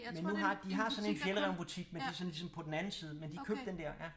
Men nu har de har sådan en Fjällräven butik men det er sådan ligesom på den anden side men de købte den dér ja